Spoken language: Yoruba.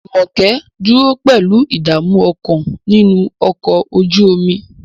Jumoke dúró pẹ̀lú ìdààmú ọkàn nínú ọkọ̀ ojú omi.